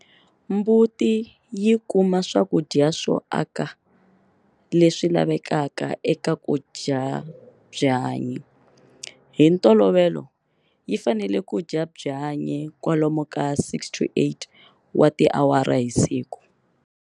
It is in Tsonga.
Mbuti yi kuma swakudya swo aka leswi lavekaka eka ku dya byanyi. Hi ntolovelo yi fanele ku dya byanyi kwalomu ka 6-8 wa tiawara hi siku.